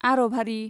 आरभारि